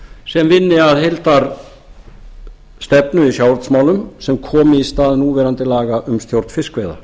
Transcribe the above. sem vinni að heildarstefnu í sjávarútvegsmálum sem komi í stað núverandi laga um stjórn fiskveiða